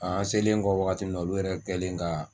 An selen kɔ wagati na olu yɛrɛ kɛlen ga